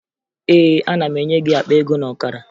Ee, ana m enye gị akpa ego na ọkara